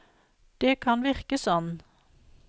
Det kan virke sånn.